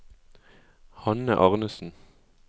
Hanne Arnesen